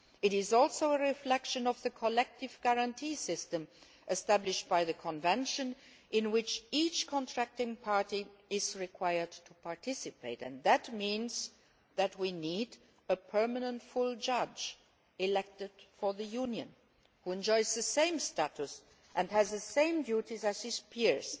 it is also a reflection of the collective guarantee system established by the Convention in which each contracting party is required to participate, and that means that we need a permanent full judge elected by the Union who enjoys the same status and has the same duties as his peers